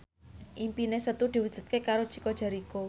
impine Setu diwujudke karo Chico Jericho